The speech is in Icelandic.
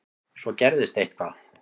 Svo gerðist eitthvað.